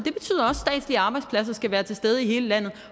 og arbejdspladser skal være til stede i hele landet